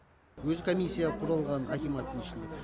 өзі комиссия құралған акиматтың ішінде